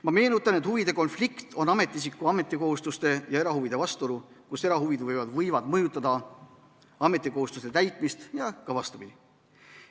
Ma meenutan, et huvide konflikt on ametiisiku ametikohustuste ja erahuvide vastuolu, kus erahuvid võivad mõjutada ametikohustuste täitmist ja ka vastupidi.